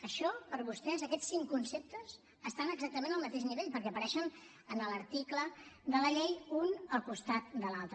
això per vostès aquests cinc conceptes estan exactament al mateix nivell perquè apareixen en l’article de la llei un al costat de l’altre